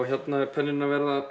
hérna er penninn